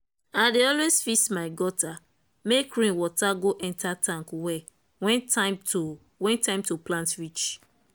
i dey always fix my gutter make rain water go enter tank well when time to when time to plant reach.